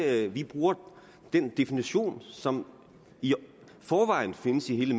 at vi bruger den definition som i forvejen findes i hele